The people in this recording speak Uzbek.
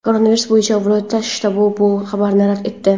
Koronavirus bo‘yicha viloyat shtabi bu xabarni rad etdi.